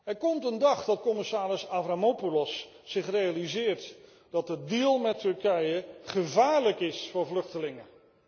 Er komt een dag dat commissaris Avramopoulos zich realiseert dat de deal met Turkije gevaarlijk is voor vluchtelingen.